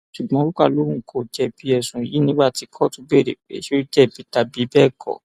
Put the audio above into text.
ṣùgbọn ruka lóun kò jẹbi ẹsùn yìí nígbà tí kóòtù béèrè pé ṣé ó jẹbi tàbí bẹẹ kọ